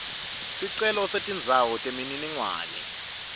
sicelo setindzawo temininingwane